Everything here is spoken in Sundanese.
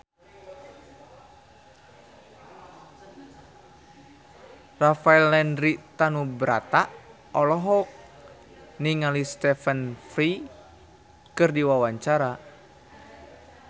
Rafael Landry Tanubrata olohok ningali Stephen Fry keur diwawancara